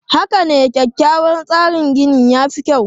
Haka ne, kyakkyawan tsarin gini ya fi kyau.